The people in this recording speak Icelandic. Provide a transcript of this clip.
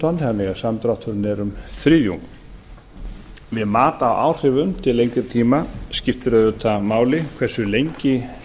tonn þannig að samdrátturinn er um þriðjungur við mat á áhrifum til lengri tíma skiptir auðvitað máli hversu lengi